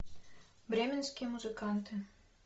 бременские музыканты